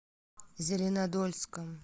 зеленодольском